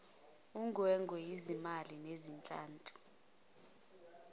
ungwengwe izimbali nezihlahla